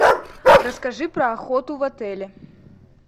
расскажи про охоту в отеле